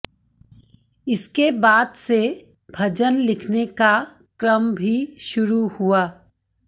इसके बाद से भजन लिखने का क्रम भी शुरु हुआ